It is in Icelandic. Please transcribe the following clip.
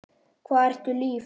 Hvað ertu líf?